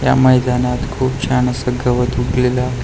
ह्या मैदानात खूप छान असं गवत उगलेलं आहे.